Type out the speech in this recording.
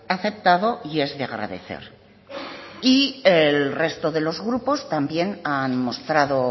aceptado y es de agradecer y el resto de los grupos también han mostrado